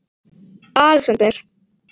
Alexander